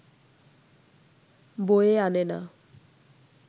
বয়ে আনে না